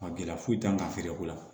Gɛlɛya foyi t'an kan ka feere ko la